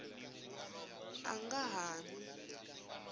a nga ha n wi